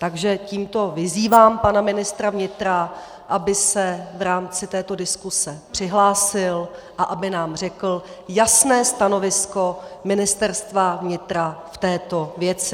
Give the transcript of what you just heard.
Takže tímto vyzývám pana ministra vnitra, aby se v rámci této diskuse přihlásil a aby nám řekl jasné stanovisko Ministerstva vnitra v této věci.